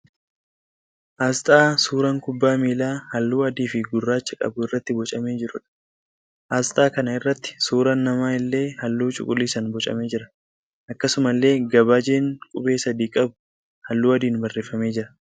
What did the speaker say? Asxaa suuraan kubbaa miilaa halluu adii fi gurraacha qabu irratti boocamee jiruudha. Asxaa kana irratti suuraan namaa illee halluu cuquliisaan boocamee jira. Akkasumallee gabaajeen qubee sadii qabu halluu adiin barreeffamee jira.